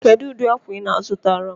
Kedụ ụdị akwa ị na-azụtara m?